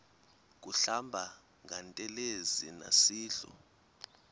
kuhlamba ngantelezi nasidlo